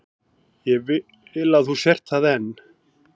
Ég vil að þú sért það enn.